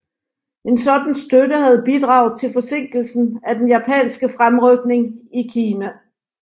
En sådan støtte havde bidraget til forsinkelsen af den japanske fremrykning i Kina